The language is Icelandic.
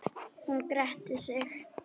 Hún gretti sig.